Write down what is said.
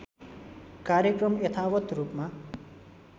कार्यक्रम यथावत् रूपमा